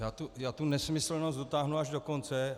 Já tu nesmyslnost dotáhnu až do konce.